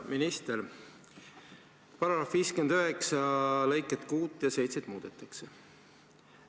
§ 59 lõikeid 6 ja 7 muudetakse.